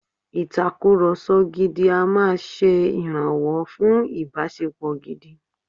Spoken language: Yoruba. Ìtakùrọlsọ gidi a máa ṣe ìrànwọ́ fún ìbáṣepọ̀ gidi.